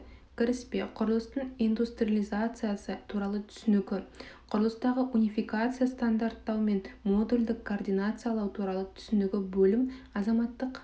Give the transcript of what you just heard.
кіріспе құрылыстың индустриализациясы туралы түсінігі құрылыстағы унификация стандарттау мен модульдік координациялау туралы түсінігі бөлім азаматтық